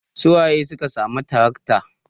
Su waye suka samu tarakta?